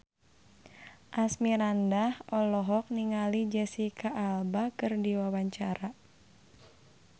Asmirandah olohok ningali Jesicca Alba keur diwawancara